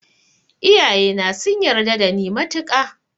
Iyaye na sun yarda da ni matuka